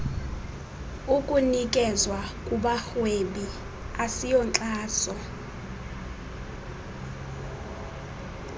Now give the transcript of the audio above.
ukunikezwa kubarhwebi asiyonkxaso